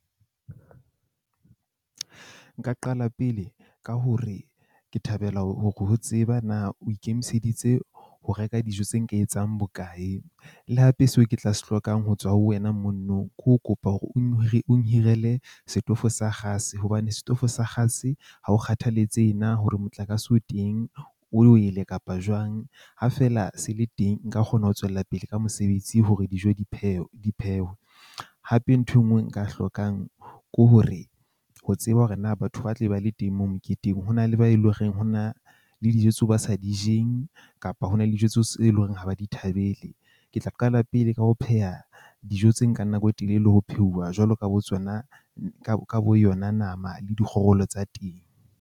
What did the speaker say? Nka qala pele ka hore ke thabela hore ho tseba na o ikemiseditse ho reka dijo tse nka etsang bokae. Le hape seo ke tla se hlokang ho tswa ho wena mo nong ke ho kopa hore o nhirele setofo sa kgase. Hobane setofo sa kgase ha o kgathaletsehe na hore motlakase o teng o wele kapa jwang ha fela se le teng. Nka kgona ho tswela pele ka mosebetsi hore dijo di phewe di phehwe. Hape nthwe e nngwe nka hlokang ko hore ho tseba hore na batho ba tle ba le teng moo moketeng ho na le ba eleng hore ho na le dijo tseo ba sa di jeng. Kapa ho na le dijo tseo e leng hore ha ba di thabele. Ke tla qala pele ka ho pheha dijo tse nkang nako e telele ho pheuwa, jwalo ka bo tsona ka bo yona nama le dikgorolo tsa teng.